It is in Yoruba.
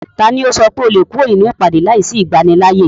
Taló pé o lè kúrò nínú ìpàdé láìsí ìgbanilááyè?